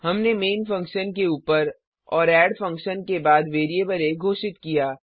हमने main function के ऊपर और एड फंक्शन के बाद वेरिएबल आ घोषित किया